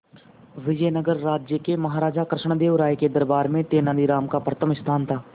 विजयनगर राज्य के महाराजा कृष्णदेव राय के दरबार में तेनालीराम का प्रथम स्थान था